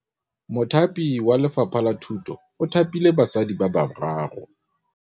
Mothapi wa Lefapha la Thutô o thapile basadi ba ba raro.